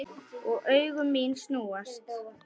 Og augu mín snúast.